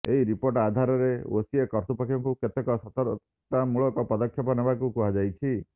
ଏହି ରିପୋର୍ଟ ଆଧାରରେ ଓସିଏ କର୍ତ୍ତୃପକ୍ଷଙ୍କୁ କେତେକ ସତର୍କତାମୂଳକ ପଦକ୍ଷେପ ନେବାକୁ କୁହାଯାଇଛି